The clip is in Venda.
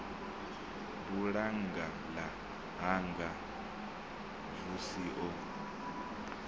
bulannga ḽa hanga xvusi o